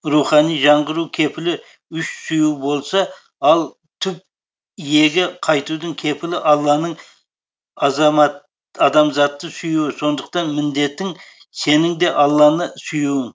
рухани жаңғыру кепілі үш сүю болса ал түп иеге қайтудың кепілі алланың адамзатты сүюі сондықтан міндетің сенің де алланы сүюің